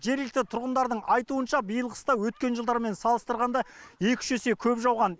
жергілікті тұрғындардың айтуынша биыл қыста өткен жылдармен салыстырғанда екі үш есе көп жауған